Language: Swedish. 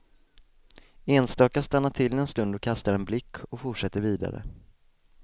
Enstaka stannar till en stund och kastar en blick och fortsätter vidare.